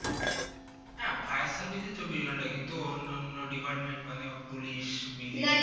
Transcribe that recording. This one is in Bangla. হ্যাঁ fire service এ চব্বিশ ঘন্টা কিন্তু অন্য অন্য department মানে police BBC না না